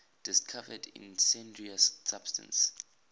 discovered incendiary substance